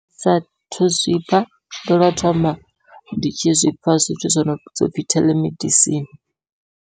Sathu zwi pfha ndo lwo thoma ndi tshi zwipfha zwithu zwo nopfhi theḽemedisini.